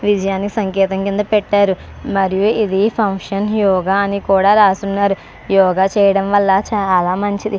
విజయాన్ని సంకేతం కింద పెట్టారు. మరియు ఇది ఫంక్షన్ యోగ అని కూడా రాస్తున్నారు. యోగా చేయడం వల్ల చాలా మంచిది.